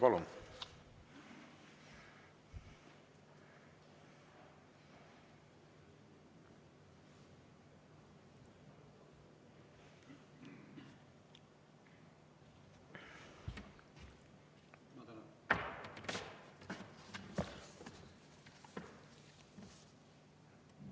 Palun!